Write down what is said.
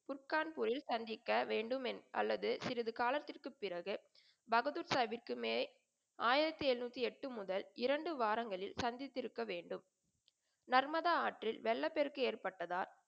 குட்கான்பூரில் சந்திக்க வேண்டும் அல்லது சிறிது காலத்திற்குப் பிறகு பகதூர்ஷாவிற்கு மே ஆயிரத்தி எழுநூத்தி எட்டு முதல் இரண்டு வாரங்களில் சந்தித்திருக்கவேண்டும். நர்மதா ஆற்றில் வெள்ளப்பெருக்கு ஏற்பட்டதால்,